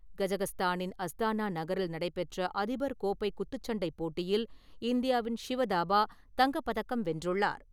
கசகஸ்தானின் Astana நகரில் நடைபெற்ற அதிபர் கோப்பை குத்துச்சண்டைப் போட்டியில் இந்தியாவின் ஷிவ் தாபா தங்கப் பதக்கம் வென்றுள்ளார்.